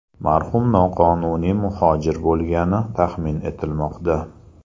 Marhum noqonuniy muhojir bo‘lgani taxmin etilmoqda.